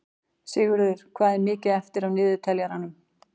Sigurður, hvað er mikið eftir af niðurteljaranum?